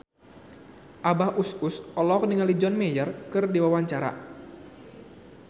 Abah Us Us olohok ningali John Mayer keur diwawancara